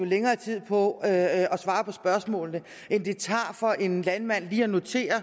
længere tid på at svare på spørgsmålene end det tager for en landmand lige at notere